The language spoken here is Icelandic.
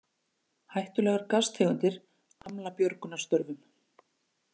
Hættulegar gastegundir hamla björgunarstörfum